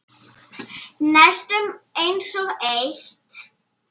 Næstum einsog eitt.